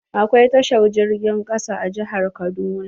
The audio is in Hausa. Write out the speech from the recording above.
Akwai tashar jirgin ƙasa a jihar kaduna.